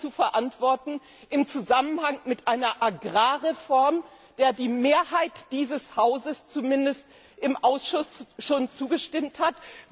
Ist das zu verantworten im Zusammenhang mit einer Agrarreform, der die Mehrheit dieses Hauses zumindest im Ausschuss schon zugestimmt hat?